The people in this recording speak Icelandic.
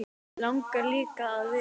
Langar líka að vita.